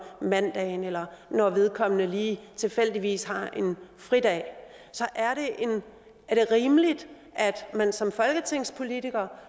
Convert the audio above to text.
mandagen eller når vedkommende lige tilfældigvis har en fridag er det rimeligt at man som folketingspolitiker